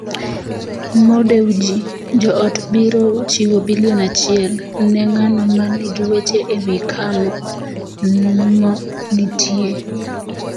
Mo Dewji: Jo-ot biro chiwo bilion achiel ne ng'ano ma nigi weche ewi kama Mo nitie.